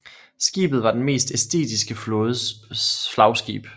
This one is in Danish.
Skibet var den estiske flådes flagskib